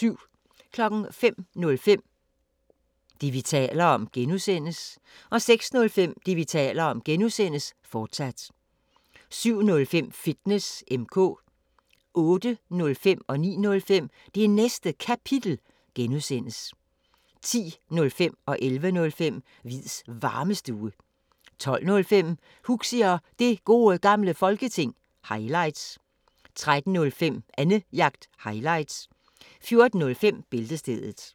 05:05: Det, vi taler om (G) 06:05: Det, vi taler om (G), fortsat 07:05: Fitness M/K 08:05: Det Næste Kapitel (G) 09:05: Det Næste Kapitel (G) 10:05: Hviids Varmestue 11:05: Hviids Varmestue 12:05: Huxi og Det Gode Gamle Folketing – highlights 13:05: Annejagt – highlights 14:05: Bæltestedet